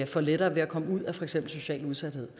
får lettere ved at komme ud af for eksempel socialt udsathed